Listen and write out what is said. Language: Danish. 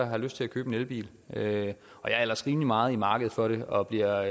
har lyst til at købe en elbil jeg er ellers rimelig meget i markedet for det og bliver